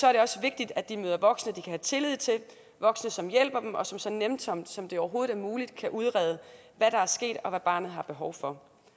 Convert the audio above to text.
er det også vigtigt at de møder voksne de kan have tillid til voksne som hjælper dem og som så nænsomt som overhovedet muligt kan udrede hvad der er sket og hvad barnet har behov for